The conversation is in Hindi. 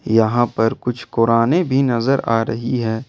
यहां पर कुछ कुराने भी नजर आ रही है।